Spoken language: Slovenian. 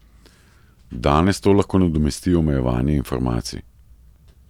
Danes to lahko nadomesti omejevanje informacij.